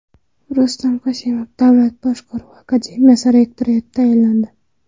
Rustam Qosimov Davlat boshqaruvi akademiyasi rektori etib tayinlandi.